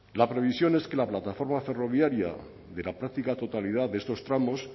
la previsión es que la plataforma ferroviaria de la práctica totalidad de estos tramos